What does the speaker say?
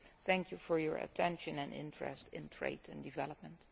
Thank you for your attention and your interest in trade and development.